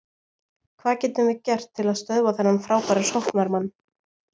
Hvað getum við gert til að stöðva þennan frábæra sóknarmann?